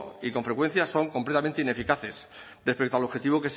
y con frecuencia son completamente ineficaces respecto al objetivo